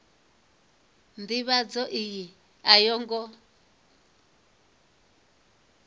ndivhadzo iyi a yo ngo